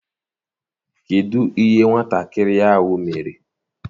Kedụ ihe nwatakịrị ahụ mere?